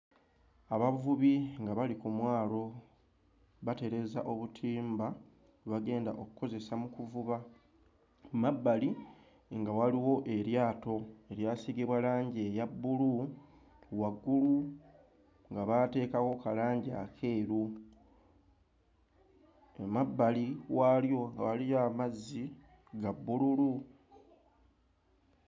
Abavubi nga bali ku mwalo batereeza obutimba bwe bagenda okkozesa mu kuvuba, ku mabbali nga waliwo eryato eryasiigibwa langi eya bbulu, waggulu nga baateekawo ka langi akeeru, emabbali waalyo nga waliyo amazzi ga bbululu.